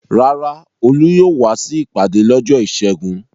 Rárá, Olú yóò wá sí ìpàdé lọ́jọ́ ìṣẹ́gun.